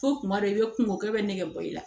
Fo kuma dɔ i bɛ kungo kɛ bɛ nɛgɛ bɔ i la